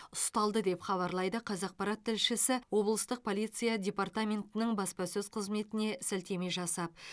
ұсталды деп хабарлайды қазақпарат тілшісі облыстық полиция депараментінің баспасөз қызметіне сілтеме жасап